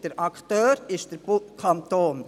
Der Akteur ist der Kanton.